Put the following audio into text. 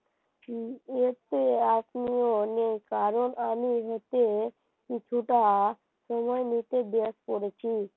কারণ আমি হেঁটে কিছুটা সময় নিজে waste করেছি